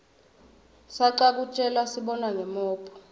sacwa kutjelasibona ngomophg lifikola